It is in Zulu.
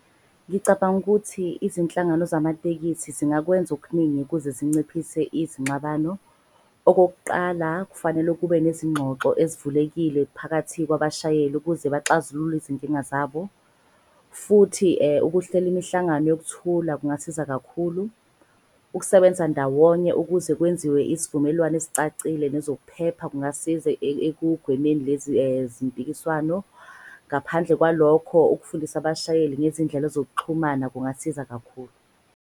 Ngicabanga ukuthi izinhlangano zamatekisi zingakwenza okuningi ukuze zinciphise izinxabano. Okokuqala, kufanele kube nezingxoxo ezivulekile phakathi kwabashayeli ukuze baxazulule izinkinga zabo. Futhi ukuhlela imihlangano yokuthula kungasiza kakhulu. Ukusebenza ndawonye ukuze kwenziwe isivumelwane esicacile nezokuphepha kungasiza ekugwemeni lezi zimpikiswano. Ngaphandle kwalokho, ukufundisa abashayeli ngezindlela zokuxhumana kungasiza kakhulu.